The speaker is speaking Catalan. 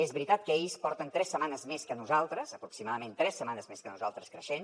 és veritat que ells porten tres setmanes més que nosaltres aproximadament tres setmanes més que nosaltres creixent